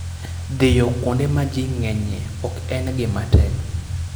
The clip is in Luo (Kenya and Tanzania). Dhiyo kuonde ma ji ng'enyie ok en gima tek.